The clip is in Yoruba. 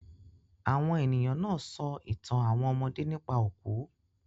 Àwọn ènìyàn náà sọ ìtàn àwọn ọmọdé nípa òkú.